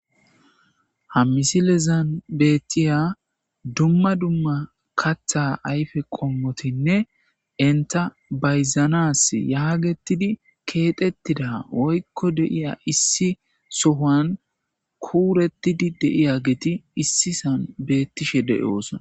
ha misilezan bettiya dumma dumma katha ayfe qommotinne inta bayzanas yaagetidi keexettida woykko deiya issi sohan kuurettidi deiya geeti issisan beettishe de7oosona